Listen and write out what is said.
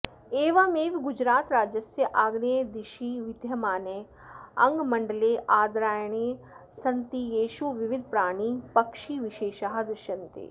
एवमेव गुजरातराज्यस्य आग्नेये दिशि विद्यमाने डाङ्गमण्डले आर्द्रारण्यानि सन्ति येषु विविधप्राणिपक्षिविशेषाः दृश्यन्ते